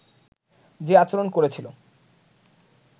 যে আচরণ করেছিল